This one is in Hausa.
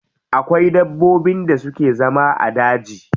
Akwai dabbobin da suke zama a daji.